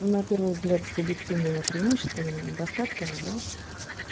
на первый взгляд субъективными преимуществами и недостатками да